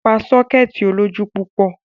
Pa sọ́kẹ́ẹ̀tì olójú púpọ̀.